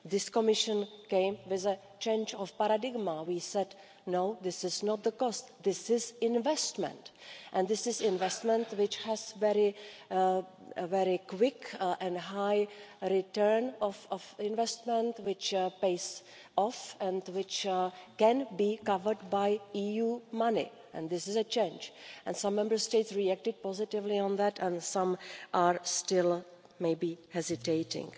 This Commission came with a change of paradigm, we said no, this is not the cost, this is investment and this is investment which has a very quick and high return of investment which pays off and which can be covered by EU money, and this is a change, and some Member States reacted positively on that and some are still maybe hesitating.